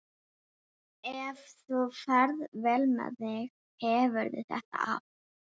Ef þú ferð vel með þig hefurðu þetta af.